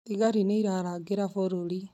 Thigari nĩ irarangĩra bũrũri